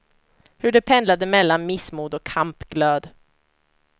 Hur de pendlade mellan missmod och kampglöd.